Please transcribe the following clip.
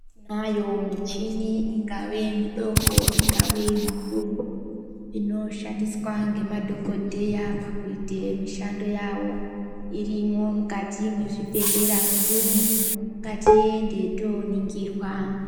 Tiinayo michini ingave midoko ,ingave mikuru, inoshandiswa ngemadhokodheya pakuite mishando yavo. Irimwo mukati mwezvibhedhera mwedumwo. Ngatiende tooningirwa .